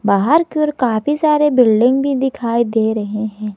बाहर के ओर काफी सारे बिल्डिंग भी दिखाई दे रहे हैं।